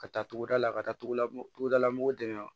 Ka taa togodala ka taa tugu latugudala mɔgɔw dɛmɛ